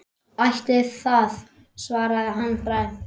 Ætli það, svaraði hann dræmt.